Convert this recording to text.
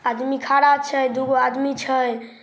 आदमी खाड़ा छै दुगो आदमी छै।